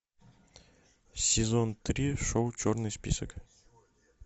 сезон три шоу черный список